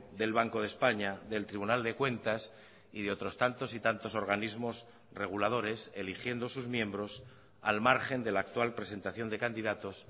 del banco de españa del tribunal de cuentas y de otros tantos y tantos organismos reguladores eligiendo sus miembros al margen de la actual presentación de candidatos